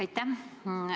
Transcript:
Aitäh!